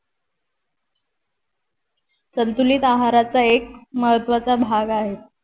संतुलित आहाराचा एक महत्वाचा भाग आहेत